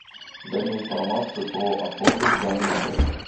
дай мне информацию про охоту в данном отеле